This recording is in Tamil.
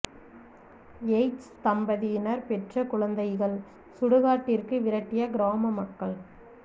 எய்ட்ஸ் தம்பதியினர் பெற்ற குழந்தைகள் சுடு காட்டிற்கு விரட்டிய கிராம மக்கள்